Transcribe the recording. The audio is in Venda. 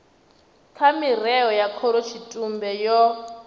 kha mirao ya khorotshitumbe yo